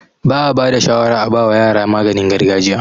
Ba'a bada shawara a bawa yara maganin gargajiya